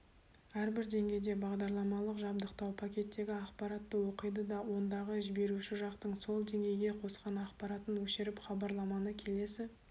әрбір деңгейде бағдарламалық жабдықтау пакеттегі ақпаратты оқиды да ондағы жіберуші жақтың сол деңгейге қосқан ақпаратын өшіріп хабарламаны келесі